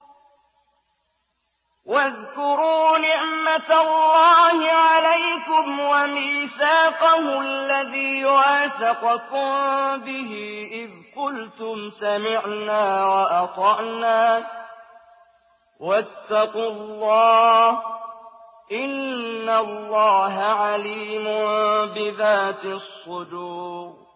وَاذْكُرُوا نِعْمَةَ اللَّهِ عَلَيْكُمْ وَمِيثَاقَهُ الَّذِي وَاثَقَكُم بِهِ إِذْ قُلْتُمْ سَمِعْنَا وَأَطَعْنَا ۖ وَاتَّقُوا اللَّهَ ۚ إِنَّ اللَّهَ عَلِيمٌ بِذَاتِ الصُّدُورِ